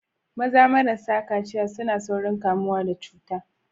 Maza marasa kaciya suna saurin kamuwa da cuta.